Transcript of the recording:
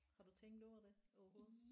Har du tænkt over det overhovedet?